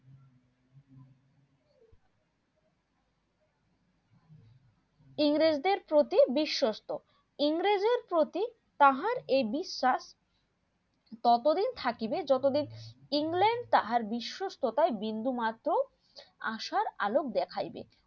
ইংরেজ দের প্রতি বিশ্বস্ত ইংরেজ দের প্রতি তাহার এ বিশ্বাস ততদিন থাকিবে যতদিন England তাহার বিসশস্ততায় বিন্দু মাত্র আসার আলো দেখাইবে